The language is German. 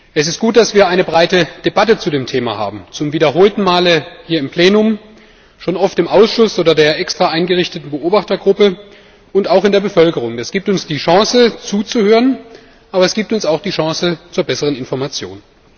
Es ist gut, dass wir eine breite Debatte zu dem Thema haben zum wiederholten Male hier im Plenum, schon oft im Ausschuss oder der extra eingerichteten Beobachtergruppe und auch in der Bevölkerung. Das gibt uns die Chance zuzuhören, aber es gibt uns auch die Chance zur besseren Information.